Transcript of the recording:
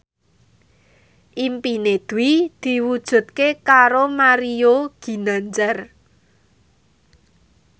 impine Dwi diwujudke karo Mario Ginanjar